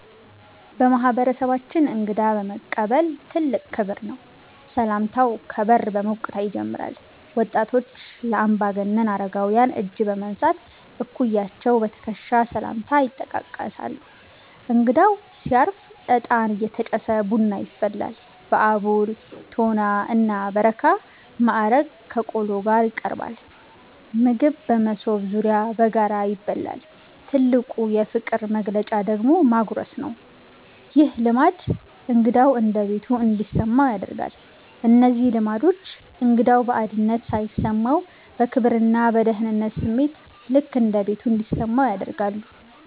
በማህበረሰባችን እንግዳ መቀበል ትልቅ ክብር ነው። ሰላምታው ከበር በሞቅታ ይጀምራል። ወጣቶች ለአምባገነን አረጋውያን እጅ በመንሳት፣ እኩያዎች በትከሻ ሰላምታ ይጠቃቀሳሉ። እንግዳው ሲያርፍ እጣን እየተጨሰ ቡና ይፈላል። በአቦል፣ ቶና እና በረካ ማዕረግ ከቆሎ ጋር ይቀርባል። ምግብ በመሶብ ዙሪያ በጋራ ይበላል። ትልቁ የፍቅር መግለጫ ደግሞ ማጉረስ ነው። ይህ ልማድ እንግዳው እንደ ቤቱ እንዲሰማው ያደርጋል። እነዚህ ልማዶች እንግዳው ባዕድነት ሳይሰማው፣ በክብርና በደህንነት ስሜት "ልክ እንደ ቤቱ" እንዲሰማው ያደርጋሉ።